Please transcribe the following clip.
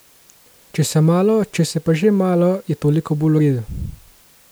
Če se malo, če se pa že malo, je toliko bolj v redu.